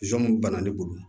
banna ne bolo